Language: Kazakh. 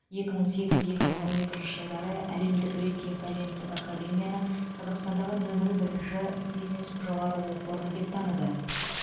екі мың сегіз екі мың он екінші жылдары әлемдік рейтинг агенттігі академияны қазақстандағы нөмір бірінші бизнес жоғары оқу орны деп таныды